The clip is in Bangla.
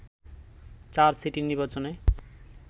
চার সিটি নির্বাচনে